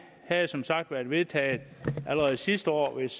havde som sagt været vedtaget allerede sidste år hvis